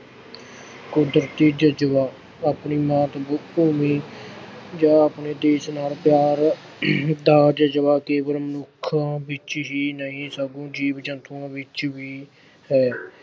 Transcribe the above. ਕੁਦਰਤੀ ਜਜ਼ਬਾ ਆਪਣੀ ਮਾਤ ਬ ਅਹ ਭੂਮੀ ਜਾਂ ਆਪਣੇ ਦੇਸ਼ ਨਾਲ ਪਿਆਰ ਦਾ ਜਜ਼ਬਾ ਕੇਵਲ ਮਨੁੱਖਾਂ ਵਿੱਚ ਹੀ ਨਹੀਂ ਸਗੋਂ ਜੀਵ-ਜੰਤੂਆਂ ਵਿੱਚ ਵੀ ਹੈ।